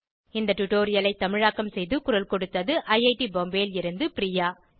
இந்த டுடோரியலை தமிழாக்கம் செய்து குரல் கொடுத்தது ஐஐடி பாம்பேவில் இருந்து பிரியா